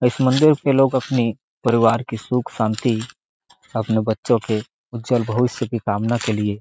इस मंदिर के लोग अपने परिवार के सुख शांति अपने बच्चों के उज्वल भविष्य के कामना के लिए--